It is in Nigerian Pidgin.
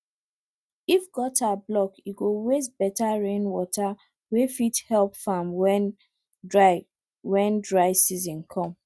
if gutter block e go waste better rainwater wey fit help farm when dry when dry season come